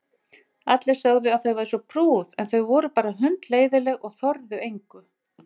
Allir sögðu að þau væru svo prúð en þau voru bara hundleiðinleg og þorðu engu.